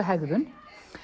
hegðun